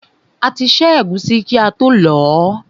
A ti ṣẹ́ ẹ̀gúsí kí ató lọ̀ọ́.